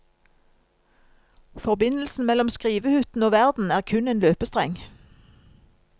Forbindelsen mellom skrivehytten og verden er kun en løpestreng.